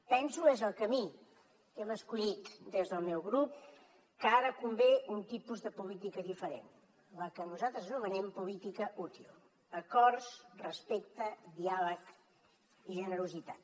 penso és el camí que hem escollit des del meu grup que ara convé un tipus de política diferent la que nosaltres anomenem política útil acords respecte diàleg i generositat